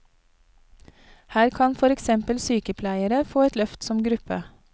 Her kan for eksempel sykepleiere få et løft som gruppe.